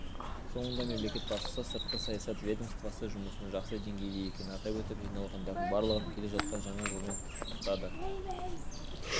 соңында мемлекет басшысы сыртқы саясат ведомствосы жұмысының жақсы деңгейде екенін атап өтіп жиналғандардың барлығын келе жатқан жаңа жылмен құттықтады